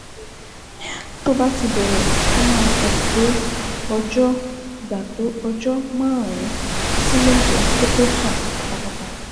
Tó bá ti bẹ̀rẹ̀, ó máa gbà tó ọjọ́ gbà tó ọjọ́ márùn-ún sí méje kó tó sàn pátápátá